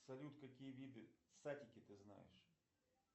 салют какие виды сатики ты знаешь